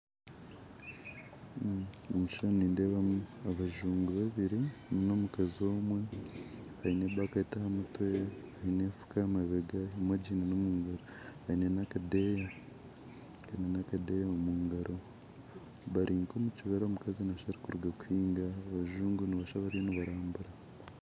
Omu kishushani nindebamu abazungu babiri n'omukazi omwe aine ebaketi ahamutwe aine enfuka ahamabega emwe agiine omungaro aine n'akadeya Kari n'akadeya omungaro barinka omukibira omukazi nashusha arukuruga kuhinga abazungu nosha bariyo nibarambura.